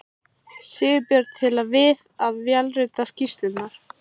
Sigurbjörn til við að vélrita skýrsluna.